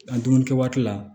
A dumuni kɛ waati la